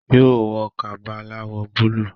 yóò wọ Kaba aláwọ̀ búlúù